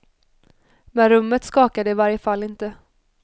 Men rummet skakade i varje fall inte.